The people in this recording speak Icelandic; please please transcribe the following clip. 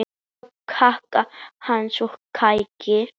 Apandi kák hans og kæki